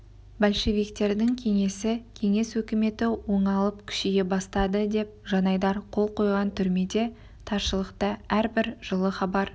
большевиктердің кеңесі кеңес өкіметі оңалып күшейе бастады деп жанайдар қол қойған түрмеде таршылықта әрбір жылы хабар